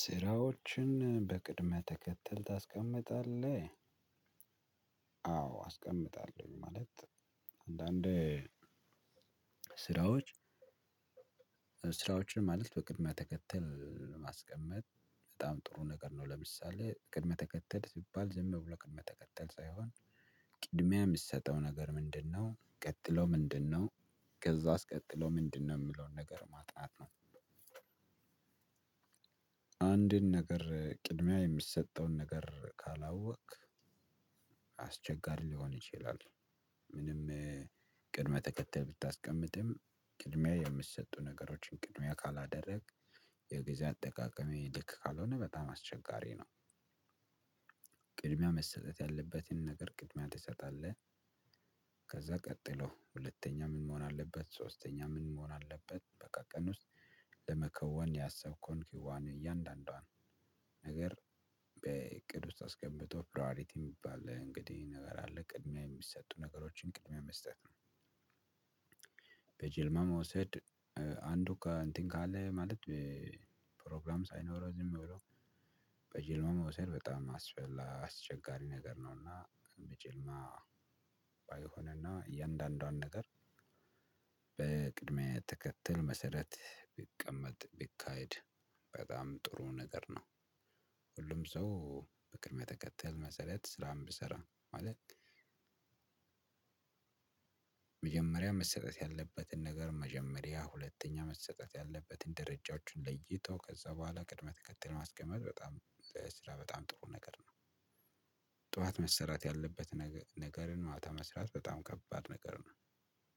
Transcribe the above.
ስራዎችን በቅድም ተከተል ታስቀምጣለህ? አዎ አስቀምጣለሁ ማለት አንዳንዴ ስራዎች። ስራዎችን ማለት በቅድመ ተከተል ማስቀመጥ በጣም ጥሩ ነገር ነው። ለምሳሌ ቅድመ ተከተል ሲባል ዝም ብሎ ቅድመ ተከተል ሳይሆን ቅድሚያ የሚሰጠው ነገር ምንድነው? ቀጥሎ ምንድነው? ከዛ አስቀጥሎ ምንድነው? የሚለውን ነገር ማጥናት ነው። አንድን ነገር ቅድሚያ የምሰጠውን ነገር ካላወክ አስቸጋሪ ሊሆን ይችላል። ምንም ቅድመ ተከተል ብታስቀምጥም ቅድሚያ የሚሰጡ ነገሮችን ቅድሚያ ካላደረግክ የጊዜ አጠቃቀምህ ልክ ካልሆነ በጣም አስቸጋሪ ነው። ቅድሚያ መሰጠት ያለበትን ነገር ቅድሚያ ትሰጣለህ። ከዛ ቀጥሎ ሁለተኛ ምን መሆን አለበት ሶስተኛ ምን መሆን አለበት። በቀን ውስጥ ለመከወን ያሰብከውን ክዋኔ እያንዳንዷን ነገር በእቅድ ውስጥ አስገብቶ ፕራዬሪቲ የሚባል እንግዲህ ነገር አለ። ቅድሚያ የሚሰጡ ነገሮችን ቅድሚያ መስጠት ነው። በጀልማ መውሰድ አንዱ እንትን ካለ ማለት ፕሮግራም ሳይኖረው ዝም ብሎ በጅምላ መወሰድ በጣም አስፈላ አስቸጋሪ ነገር ነውና። በጅምላ ባይሆንና እያንዳንዷን ነገር በቅድመ ተከተል መሰረት ቢቀመጥ ቢካሄድ በጣም ጥሩ ነገር ነው። ሁሉም ሰው በቅድመ ተከተል መሰረት ስራን ቢሰራ ማለት። መጀመሪያ መሰጠት ያለበትን ነገር መጀመሪያ ሁለተኛ መሰጠት ያለበትን ደረጃዎችን ለይቶ ከዛ በኋላ ቅድመ ተከተል ማስቀመጥ በጣም ለስራ በጣም ጥሩ ነገር ነው። ጠዋት መሰራት ያለበት ነገርን ማታ መስራት በጣም ከባድ ነገር ነው።